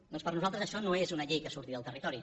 doncs per nosaltres això no és una llei que surti del territori